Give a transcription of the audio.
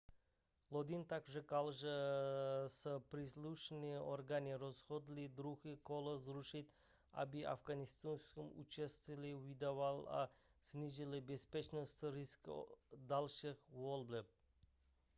lodin také řekl že se příslušné orgány rozhodly druhé kolo zrušit aby afgháncům ušetřily výdaje a snížily bezpečnostní riziko dalších voleb